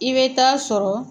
I bɛ taa sɔrɔ